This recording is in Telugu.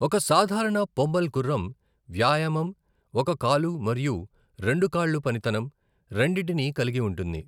ఒక సాధారణ పొమ్మల్ గుర్రం వ్యాయామం, ఒక కాలు మరియు రెండు కాళ్ళు పనితనం, రెండింటినీ కలిగి ఉంటుంది.